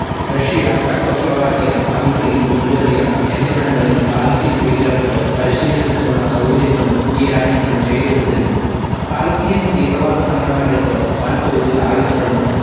Russia Czechoslovakia Hungary Bulgaria എന്നിവിടങ്ങളിൽ Palestine ഭീകരർക്ക് പരിശീലനത്തിനുള്ള സൗകര്യങ്ങളും ഈ രാജ്യങ്ങൾ ചെയ്തുകൊടുത്തിരുന്നു പലസ്തീൻ തീവ്രവാദ സംഘടനകൾക്ക് വൻ തോതിൽ ആയുധങ്ങളും